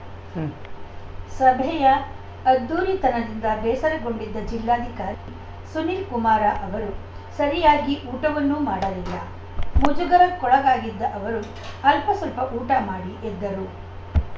ಉಂ ಸಭೆಯ ಅದ್ಧೂರಿತನದಿಂದ ಬೇಸರಗೊಂಡಿದ್ದ ಜಿಲ್ಲಾಧಿಕಾರಿ ಸುನಿಲಕುಮಾರ ಅವರು ಸರಿಯಾಗಿ ಊಟವನ್ನೂ ಮಾಡಲಿಲ್ಲ ಮುಜಗರಕ್ಕೊಳಗಾಗಿದ್ದ ಅವರು ಅಲ್ವಸ್ವಲ್ಪ ಊಟ ಮಾಡಿ ಎದ್ದರು